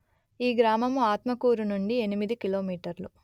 ఈ గ్రామము ఆత్మకూరు నుండి ఎనిమిది కిలోమీటర్లు